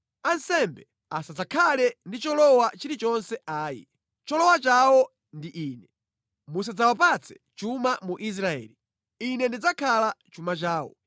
“ ‘Ansembe asadzakhale ndi cholowa chilichonse ayi. Cholowa chawo ndi Ine. Musadzawapatse chuma mu Israeli; Ine ndidzakhala chuma chawo.